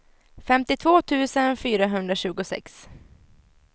femtiotvå tusen fyrahundratjugosex